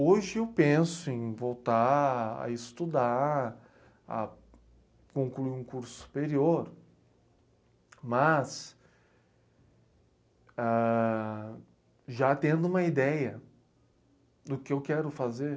Hoje eu penso em voltar a estudar, a concluir um curso superior, mas ãh... já tendo uma ideia do que eu quero fazer.